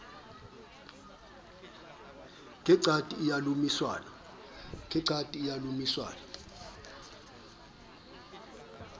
ke qati o a lomisanwa